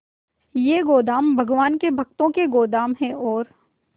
ये गोदाम भगवान के भक्तों के गोदाम है और